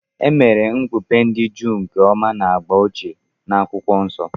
E mere Okpukpe ndị Juu nke ọma na agba ochie na Akwụkwọ Nsọ.